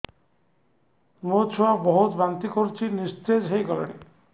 ମୋ ଛୁଆ ବହୁତ୍ ବାନ୍ତି କରୁଛି ନିସ୍ତେଜ ହେଇ ଗଲାନି